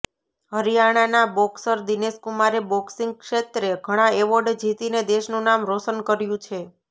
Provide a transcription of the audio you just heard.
હરિયાણાના બોક્સર દિનેશ કુમારે બોક્સિંગ ક્ષેત્રે ઘણા એવોર્ડ જીતીને દેશનું નામ રોશનકર્યું છે